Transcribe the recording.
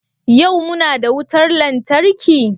Yau muna da wutar lantarki?